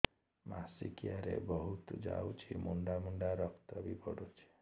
ମାସିକିଆ ରେ ବହୁତ ଯାଉଛି ମୁଣ୍ଡା ମୁଣ୍ଡା ରକ୍ତ ବି ପଡୁଛି